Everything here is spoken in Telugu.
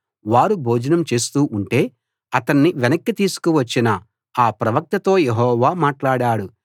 వారు భోజనం చేస్తూ ఉంటే అతన్ని వెనక్కి తీసుకొచ్చిన ఆ ప్రవక్తతో యెహోవా మాట్లాడాడు